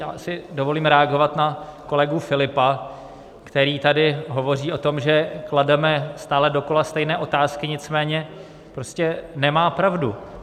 Já si dovolím reagovat na kolegu Filipa, který tady hovoří o tom, že klademe stále dokola stejné otázky, nicméně prostě nemá pravdu.